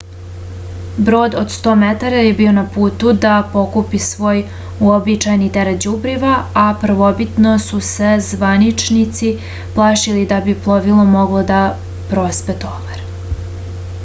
brod od 100 metara je bio na putu da pokupi svoj uobičajeni teret đubriva a prvobitno su se zvaničnici plašili da bi plovilo moglo da prospe tovar